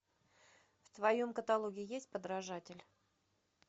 в твоем каталоге есть подражатель